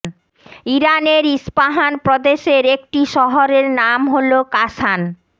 ইরানের ইস্পাহান প্রদেশের একটি শহরের নাম হলো কাশান